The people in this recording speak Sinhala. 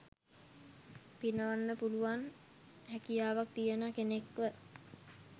පිනවන්න පුළුවන් හැකියාවක් තියෙන කෙනෙක්ව.